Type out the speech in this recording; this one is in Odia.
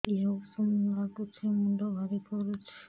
ଦିହ ଉଷୁମ ନାଗୁଚି ମୁଣ୍ଡ ଭାରି କରୁଚି